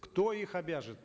кто их обяжет